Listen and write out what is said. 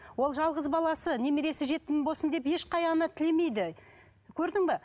ол жалғыз баласы немересі жетім болсын деп ешқандай ана тілемейді көрдің бе